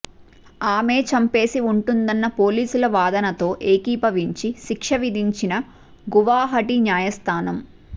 ఆమే చంపేసి ఉంటుందన్న పోలీసుల వాదనతో ఏకీభవించి శిక్ష విధించిన గువాహటి న్యాయస్థానం